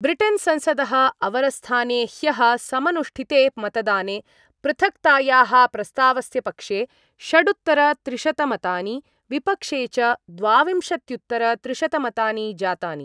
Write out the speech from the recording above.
Britain संसदः अवरस्थाने ह्यः समनुष्ठिते मतदाने पृथक्तायाः प्रस्तावस्य पक्षे षडुत्तरत्रिशतमतानि, विपक्षे च द्वाविंशत्युत्तरत्रिशतमतानि जातानि